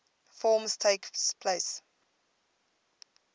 forms takes place